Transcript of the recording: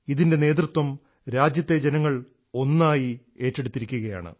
ഇതിൻറെ നേതൃത്വം രാജ്യത്തെ ജനങ്ങൾ ഒന്നായി ഏറ്റെടുത്തിരിക്കുകയാണ്